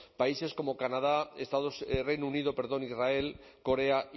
países como canadá estados reino unido perdón israel corea